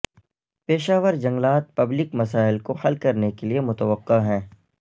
پیشہ ور جنگلات پبلک مسائل کو حل کرنے کے لئے متوقع ہیں